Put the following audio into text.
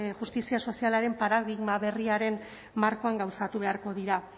justizia sozialaren paradigma berriaren markoan gauzatu beharko dira